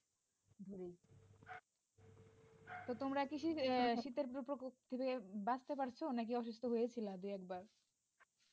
তো তোমরা কি শীতের প্রকোপ থেকে বাঁচতে পারছো নাকি অসুস্থ হয়েছিলা দুই একবার?